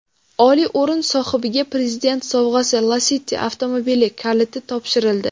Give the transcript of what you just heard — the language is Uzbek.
Oliy o‘rin sohibiga Prezident sovg‘asi Lacetti avtomobili kaliti topshirildi.